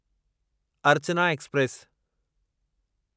Archana express